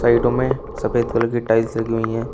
में सफेद कलर की टाइल्स लगी हुई है।